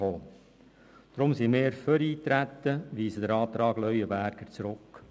Deshalb sind wir für Eintreten und weisen den Antrag Leuenberger zurück.